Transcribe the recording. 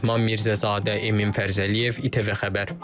Mehman Mirzəzadə, Emin Fərzəliyev, ITV Xəbər.